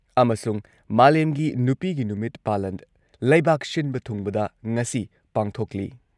ꯑꯃꯁꯨꯡ ꯃꯥꯂꯦꯝꯒꯤ ꯅꯨꯄꯤꯒꯤ ꯅꯨꯃꯤꯠ ꯄꯥꯂꯟ ꯂꯩꯕꯥꯛ ꯁꯤꯟꯕ ꯊꯨꯡꯕꯗ ꯉꯁꯤ ꯄꯥꯡꯊꯣꯛꯂꯤ ꯫